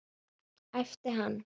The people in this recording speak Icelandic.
æpti hann.